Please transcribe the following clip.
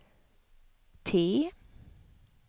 T